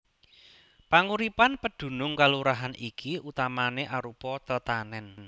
Panguripan pedunung kalurahan iki utamané arupa tetanèn